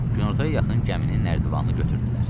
Günortaya yaxın gəminin nərdəvanı götürdülər.